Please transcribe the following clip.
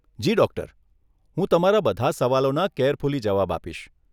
જી doctor! હું તમારા બધા સવાલોના કેરફૂલી જવાબ આપીશ.